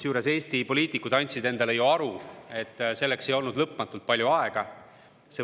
Eesti poliitikud andsid ju endale aru, et selleks ei olnud lõpmatult palju aega.